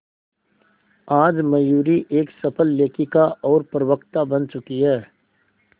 आज मयूरी एक सफल लेखिका और प्रवक्ता बन चुकी है